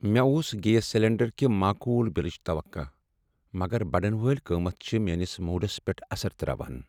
مےٚ اوس gas cylinder کہ معقول بلٕچ توقع، مگر بڑن وٲلۍ قیمت چھ میٲنس موڈس پیٹھ اثر ترٛاوان۔